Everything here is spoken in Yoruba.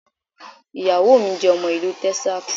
Ìyàwó mi jẹ́ ọmọ Ìlú Texas